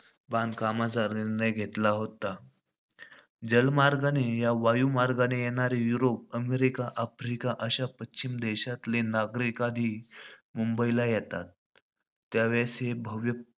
बांधकामाचा निर्णय घेतला होता. जलमार्गाने या वायुमार्गाने येणारे युरोप, अमेरिका, आफ्रिका अश्या पश्चिम देशातले नागरिक आधी मुंबईला येतात. त्यावेळेस हे भव्य,